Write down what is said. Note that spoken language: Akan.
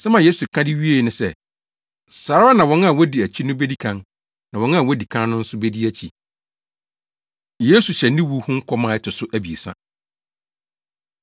“Asɛm a Yesu ka de wiee ne sɛ, ‘Saa ara na wɔn a wodi akyi no bedi kan, na wɔn a wodi kan no nso bedi akyi.’ ” Yesu Hyɛ Ne Wu Ho Nkɔm A Ɛto So Abiɛsa